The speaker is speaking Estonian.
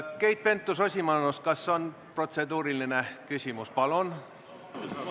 Keit Pentus-Rosimannus, kas on protseduuriline küsimus?